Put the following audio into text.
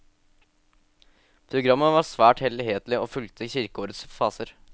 Programmet var svært helhetlig og fulgte kirkeårets faser.